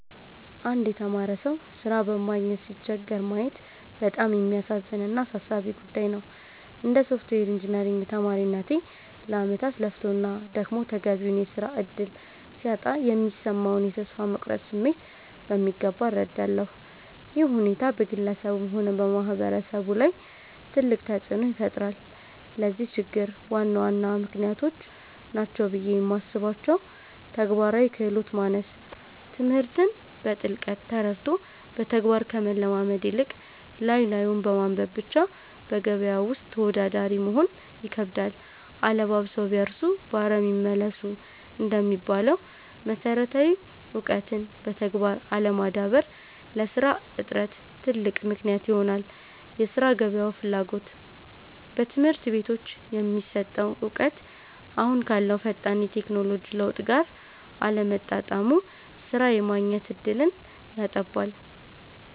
አንድ የተማረ ሰው ሥራ በማግኘት ሲቸገር ማየት በጣም የሚያሳዝን እና አሳሳቢ ጉዳይ ነው። እንደ ሶፍትዌር ኢንጂነሪንግ ተማሪነቴ፣ ለዓመታት ለፍቶና ደክሞ ተገቢውን የሥራ ዕድል ሲያጣ የሚሰማውን የተስፋ መቁረጥ ስሜት በሚገባ እረዳለሁ። ይህ ሁኔታ በግለሰቡም ሆነ በማህበረሰቡ ላይ ትልቅ ተጽዕኖ ይፈጥራል። ለዚህ ችግር ዋና ዋና ምክንያቶች ናቸው ብዬ የማስባቸው፦ ተግባራዊ ክህሎት ማነስ፦ ትምህርትን በጥልቀት ተረድቶ በተግባር ከመለማመድ ይልቅ፣ ላይ ላዩን በማንበብ ብቻ በገበያው ውስጥ ተወዳዳሪ መሆን ይከብዳል። 'አለባብሰው ቢያርሱ በአረም ይመለሱ' እንደሚባለው፣ መሰረታዊ እውቀትን በተግባር አለማዳበር ለሥራ እጥረት ትልቅ ምክንያት ይሆናል የሥራ ገበያው ፍላጎት፦ በትምህርት ቤቶች የሚሰጠው እውቀት አሁን ካለው ፈጣን የቴክኖሎጂ ለውጥ ጋር አለመጣጣሙ ሥራ የማግኘት ዕድልን ያጠባል።